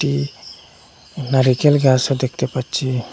ই নারিকেল গাছও দেখতে পাচ্ছি।